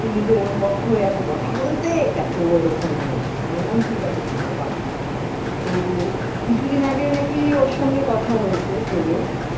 তুমি যে ওর পক্ষও এতো কথা বলতে দেখ ও এরকম হলো আমি বললাম ঠিক আছে ছাড়ো বাদ দাও তো কিছুদিন আগে নাকি ওর সঙ্গে কথা হয়েছে তোজর